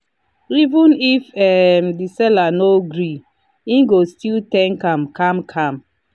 even if um the seller no gree he go still thank am calm calm